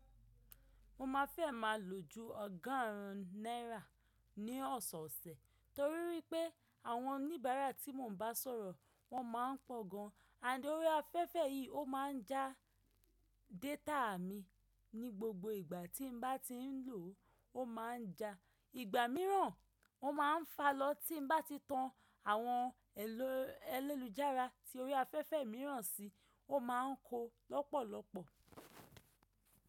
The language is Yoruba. Mo má fẹ́ má lo ju ọgọ́rùn ún náírà ní ọ̀sọ̀ọ̀sẹ̀ torí wípé àwọn oníbàárà tí mò ń bá sọ̀rọ̀ wọ́n má ń pọ̀ gan-an. D'orí afẹ́fẹ́ yìí ó ma ń já data mi ní gbogbo ìgbà tí mo bá ti ń lò ó, ó ma ń ja. Ìgbà mìíràn, wọ́n ma ń fa lọ tí mo bá ti tan àwọn elélujàara tí orí afẹ́fẹ́ mìíràn sí, ó ma ń ko lọ́pọ̀lọ́pọ̀.